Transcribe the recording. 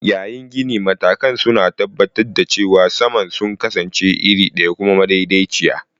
Yayin ginin, matakan suna tabbatar da cewa saman sun kasance iri ɗaya kuma madaidaiciya.